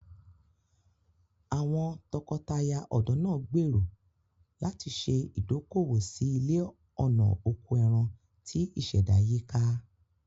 Àwọn tọkọtaya ọ̀dọ́ náà gbèrò láti ṣe ìdókòwò sí ilé ọ̀nà oko ẹran tí ìṣẹ̀dá yíká.